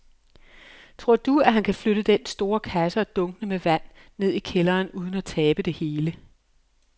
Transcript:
Tror du, at han kan flytte den store kasse og dunkene med vand ned i kælderen uden at tabe det hele?